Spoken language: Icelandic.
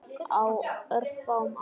Á örfáum árum.